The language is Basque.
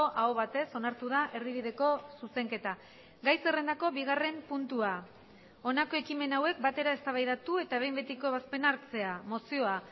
aho batez onartu da erdibideko zuzenketa gai zerrendako bigarren puntua honako ekimen hauek batera eztabaidatu eta behin betiko ebazpena hartzea mozioa